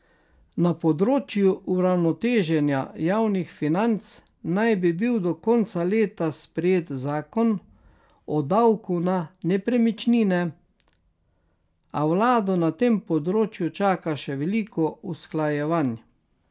Na področju uravnoteženja javnih financ naj bi bil do konca leta sprejet zakon o davku na nepremičnine, a vlado na tem področju čaka še veliko usklajevanj.